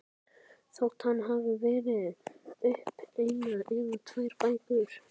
Þótt hann hafi gefið út eina eða tvær bækur.